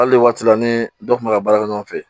Hali waati la ni dɔ kun bɛ ka baara kɛ ɲɔgɔn fɛ